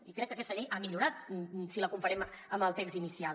i crec que aquesta llei ha millorat si la comparem amb el text inicial